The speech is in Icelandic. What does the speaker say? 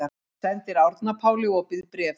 Sendir Árna Páli opið bréf